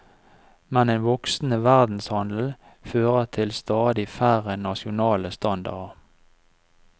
Men en voksende verdenshandel fører til stadig færre nasjonale standarder.